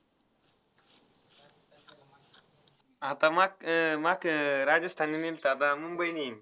आता मग अह मग अह राजस्थानने नेलता ब~ मुंबईने.